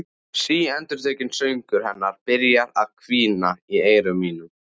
Síendurtekinn söngur hennar byrjar að hvína í eyrum mínum.